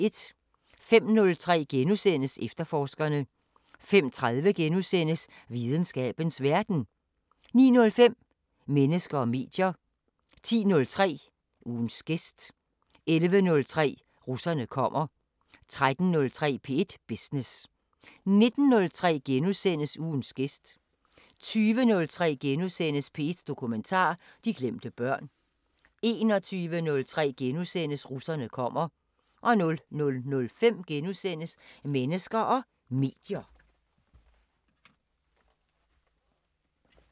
05:03: Efterforskerne * 05:30: Videnskabens Verden * 09:05: Mennesker og medier 10:03: Ugens gæst 11:03: Russerne kommer 13:03: P1 Business 19:03: Ugens gæst * 20:03: P1 Dokumentar: De glemte børn * 21:03: Russerne kommer * 00:05: Mennesker og medier *